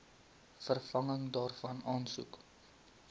vervanging daarvan aansoek